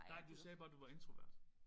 Nej du sagde bare du var introvert